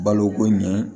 Baloko ɲɛ